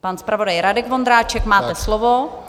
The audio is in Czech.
Pan zpravodaj Radek Vondráček, máte slovo.